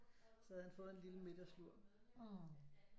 Så havde han fået en lille middagslur